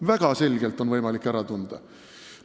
Väga selgelt on võimalik ära tunda.